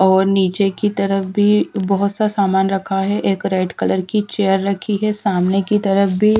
और नीचे की तरफ़ भी बहुत सा सामान रखा है एक रेड कलर की चेयर रखी हैं सामने की तरफ़ भी--